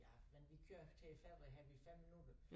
Ja men vi kører til æ færge her på ved minutter